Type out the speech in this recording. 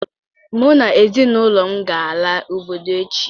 Mụ na ezinụlọ m ga-ala obodo echi